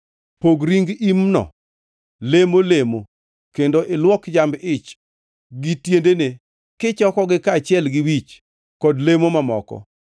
Pog ring imno lemo lemo kendo ilwok jamb-ich gi tiendene kichokogi kaachiel gi wich kod lemo mamoko.